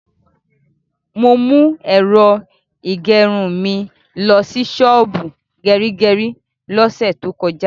Mo mú ẹ̀rọ ìgẹrun mi lọsí ṣọ́ọ̀bù gẹrígẹrí lọ́sẹ̀ tó kọjá.